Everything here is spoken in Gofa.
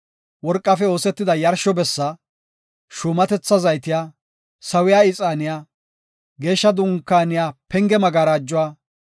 worqafe oosetida yarsho bessi, shuumatetha zayte, sawiya ixaane, Geeshsha Dunkaaniya penge magarajuwa,